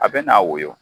A bɛ n'a woyo